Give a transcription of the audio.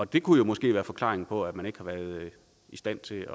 det kunne jo måske være forklaringen på at man ikke har været i stand til